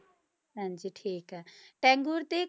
ਹਾਂਜੀ ਠੀਕ ਹੈ ਟੈਗੋਰ ਤੇ